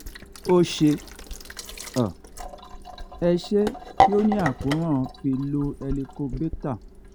ó ṣe um é ṣe kí ó ní àkóràn pyroli helicobacter